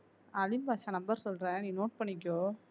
அலிம் Badsha number சொல்றேன் நீ note பண்ணிக்கோ